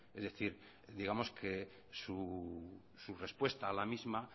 es decir digamos que su respuesta a la misma